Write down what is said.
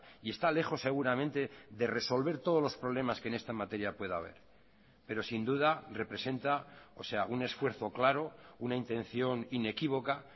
y está lejos seguramente de resolver todos los problemas que en esta materia pueda haber pero sin duda representa o sea un esfuerzo claro una intención inequívoca